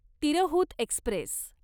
Tirhut Express